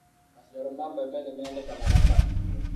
Maciaro ma bebe nĩ medekanaga ta irio